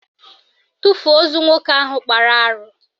Tufuo ozu nwoke ahụ kpara arụ!